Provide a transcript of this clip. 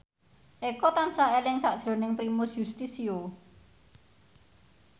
Eko tansah eling sakjroning Primus Yustisio